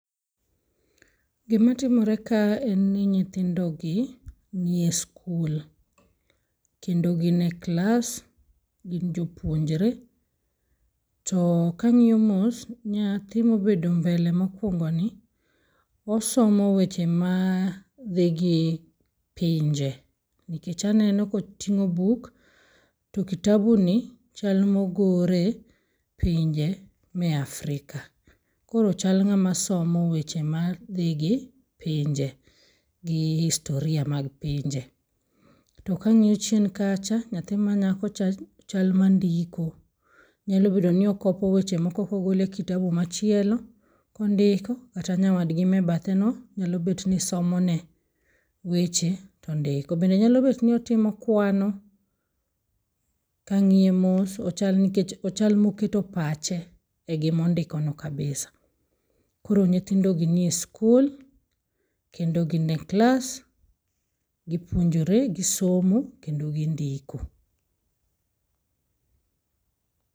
Gima timore ka enni nyithindogi nie skul, kendo gine klas, gin jopuonjre. To kang'io mos, nyathi mobedo mbele mokwongoni, osomo weche madhi gi pinje, nkech aneno koting'o buk to kitabuni chal mogore pinje me Afrika. Koro chal ng'ama somo weche madhigi pinje gi historia mag pinje. To kang'io chien kacha, nyathi manyakocha chal mandiko, nyalo bedo ni okopo weche moko kogole kitabu machielo kondiko kata nyawadgi mebetheno nyalo betni somone weche tondiko. Bende nyalo betni otimo kwano, kang'ie mos ochal nkech ochal moketo pache e gimondikono kabisa. Koro nyithindogi nie skul kendo gine klas, gipuonjore, gisomo kendo gindiko.